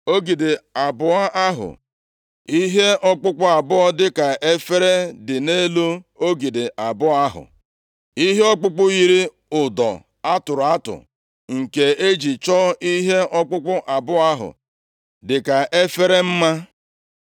Ogidi abụọ ahụ; ihe ọkpụkpụ abụọ dịka efere dị nʼelu ogidi abụọ ahụ; ihe ọkpụkpụ yiri ụdọ a tụrụ atụ nke e ji chọọ ihe ọkpụkpụ abụọ ahụ dịka efere mma.